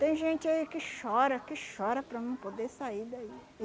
Tem gente aí que chora, que chora para não poder sair daí.